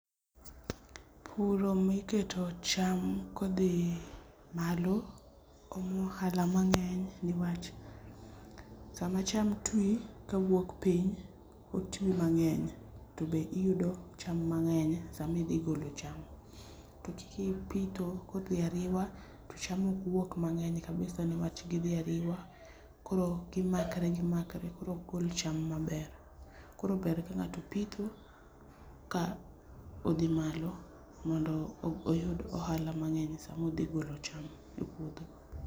Puro miketo cham kodhi malo omo ohala mangeny niwach sama cham twi kawuok piny otwi mangeny tobe iyudo cham mangeny sama idhi golo cham, to kipitho kodhi ariwa to cham ok wuok mangeny kabisa niwach gidhi ariwa koro gimakre gimakre koro ok gol cham maber, koro ber ka ngato pitho ka odhi malo mondo oyud ohala mangeny sama odhi golo cham e puodho